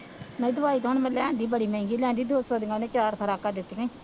ਨਹੀਂ ਦਵਾਈ ਤਾਂ ਹੁਣ ਮੈਂ ਲਿਆਂਦੀ, ਬੜੀ ਮਹਿੰਗੀ ਲਿਆਂਦੀ, ਦੋ ਸੌ ਦੀਆਂ ਉਹਨੇ ਚਾਰ ਖੁਰਾਕਾਂ ਦਿੱਤੀਆਂ